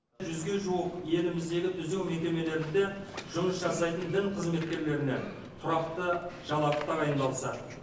жүзге жуық еліміздегі түзеу мекемелерінде жұмыс жасайтын дін қызметкерлеріне тұрақты жалақы тағайындалса